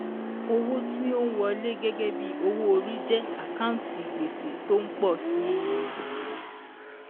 Owó tí ó ń wọlé gẹ́gẹ́ bí owó orí jẹ́ àkántì gbèsè tó ń pọ̀ sí i.